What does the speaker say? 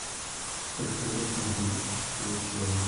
сколько лет на земле существует человек